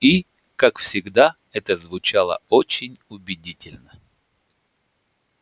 и как всегда это звучало очень убедительно